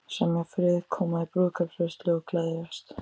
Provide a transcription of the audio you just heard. Semja frið, koma í brúðkaupsveislu og gleðjast.